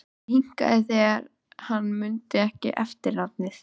Hann hikaði þegar hann mundi ekki eftirnafnið.